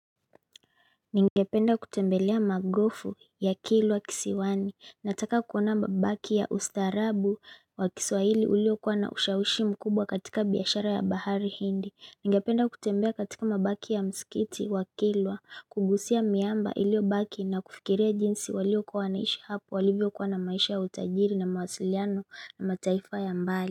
Ningependa kutembelea magofu ya kilwa kisiwani, nataka kuona mabaki ya ustaarabu wa kiswahili uliokuwa na ushawishi mkubwa katika biashara ya bahari hindi. Ningependa kutembea katika mabaki ya msikiti wa kilwa, kugusia miamba iliobaki na kufikiria jinsi waliokuwa wanaishi hapo walivyokuwa na maisha ya utajiri na mawasiliano na mataifa ya mbali.